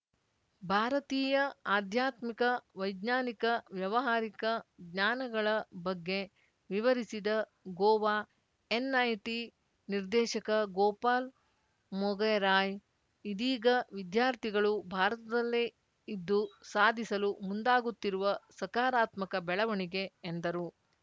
ಭಾರತೀಯ ಆಧ್ಯಾತ್ಮಿಕ ವೈಜ್ಞಾನಿಕ ವ್ಯವಹಾರಿಕ ಜ್ಞಾನಗಳ ಬಗ್ಗೆ ವಿವರಿಸಿದ ಗೋವಾ ಎನ್‌ಐಟಿ ನಿರ್ದೇಶಕ ಗೋಪಾಲ್ ಮೊಗೆರಾಯ್ ಇದೀಗ ವಿದ್ಯಾರ್ಥಿಗಳು ಭಾರತದಲ್ಲೇ ಇದ್ದು ಸಾಧಿಸಲು ಮುಂದಾಗುತ್ತಿರುವ ಸಕಾರಾತ್ಮಕ ಬೆಳವಣಿಗೆ ಎಂದರು